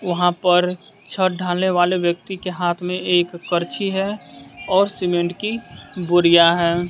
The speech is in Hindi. वहां पर छत डालने वाले व्यक्ति के हाथ में एक पर्ची है और सीमेंट की बोरियां है।